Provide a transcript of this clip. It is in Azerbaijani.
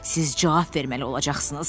Siz cavab verməli olacaqsınız.